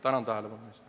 Tänan tähelepanu eest!